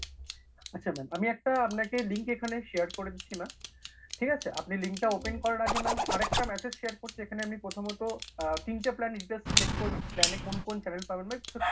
আচ্ছা ma'am আমি একটা আপনাকে link এখানে share করে দিচ্ছি ma'am ঠিক আছে? আপনি link টা open করার আগে ma'am আরেকটা message share করছি যেখানে আমি প্রথমত আ তিনটা plan ই details check করে নিন plan এ কোন কোন channel পাবেন ma'am because,